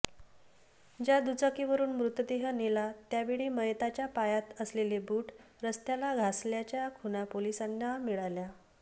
ज्या दुचाकीवरून मृतदेह नेला त्यावेळी मयताच्या पायात असलेले बूट रस्त्याला घसल्याच्या खुणा पोलिसांना मिळाल्य